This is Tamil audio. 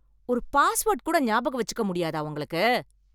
ஒரு பாஸ்வேர்ட் கூட ஞாபகம் வச்சுக்க முடியாதா உங்களுக்கு